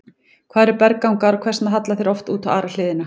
Hvað eru berggangar og hvers vegna halla þeir oft út á aðra hliðina?